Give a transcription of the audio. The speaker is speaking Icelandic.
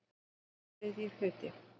III hluti